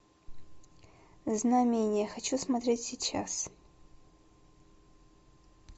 знамение хочу смотреть сейчас